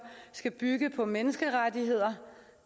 skal bygge på menneskerettigheder